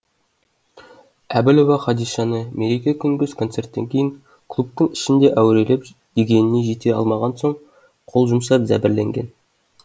әбілова хадишаны мереке күнгі концерттен кейін клубтың ішінде әурелеп дегеніне жете алмаған соң қол жұмсап